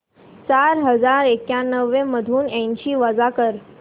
चार हजार एक्याण्णव मधून ऐंशी वजा कर